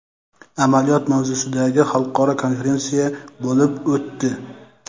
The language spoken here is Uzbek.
amaliyot mavzusidagi xalqaro konferensiya bo‘lib o‘tdi.